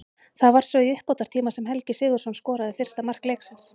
Það var svo í uppbótartíma sem Helgi Sigurðsson skoraði fyrsta mark leiksins.